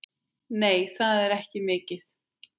Nei, það er ekki mikið.